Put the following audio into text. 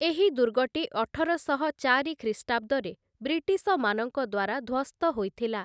ଏହି ଦୁର୍ଗଟି ଅଠରଶହ ଚାରି ଖ୍ରୀଷ୍ଟାବ୍ଦରେ ବ୍ରିଟିଶମାନଙ୍କ ଦ୍ୱାରା ଧ୍ୱସ୍ତ ହୋଇଥିଲା ।